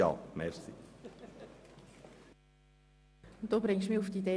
Krähenbühl bringt mich auf eine Idee: